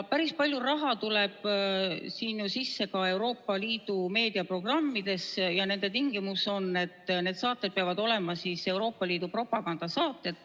Päris palju raha tuleb sisse ka Euroopa Liidu meediaprogrammidest ja nende tingimus on, et saated peavad olema Euroopa Liidu propagandasaated.